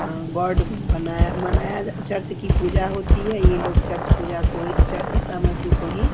उम्म word बनाया मनाया church की पूजा होती है ये लोग चर्च पूजा को ही ईसा मसीह को ही --